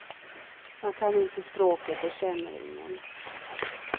Man kan inte språket och känner ingen.